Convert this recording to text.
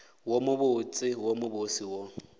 wo mobotse wo mobose wo